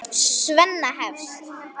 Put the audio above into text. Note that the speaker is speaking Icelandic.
Svenna hefst.